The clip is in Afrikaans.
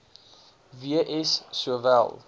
w s sowel